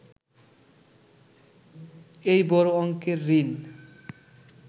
এই বড় অংকের ঋণ